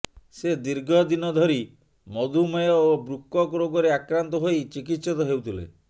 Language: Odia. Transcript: ସେ ଦୀର୍ଘ ଦିନ ଧରି ମଧୁମେହ ଓ ବୃକକ୍ ରୋଗରେ ଆକ୍ରାନ୍ତ ହୋଇ ଚିକିତ୍ସିିତ ହେଉଥିଲେ